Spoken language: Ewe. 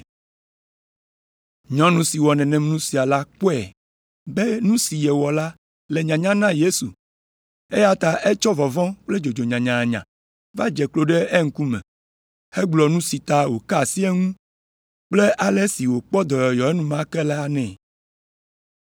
Nyɔnu si wɔ nenem nu sia la kpɔe be nu si yewɔ la le nyanya na Yesu eya ta etsɔ vɔvɔ̃ kple dzodzo nyanyanya va dze klo ɖe eŋkume hegblɔ nu si ta wòka asi eŋu kple ale si wòkpɔ dɔyɔyɔ enumake la nɛ.